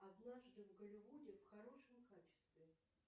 однажды в голливуде в хорошем качестве